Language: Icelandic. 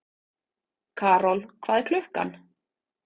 Karol, hvað er klukkan?